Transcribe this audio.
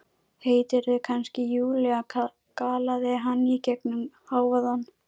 Heitirðu kannski Júlía? galaði hann í gegnum hávaðann.